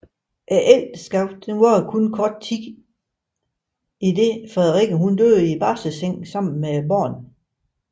Ægteskabet varede kun kort idet Frederikke døde i barselseng tillige med barnet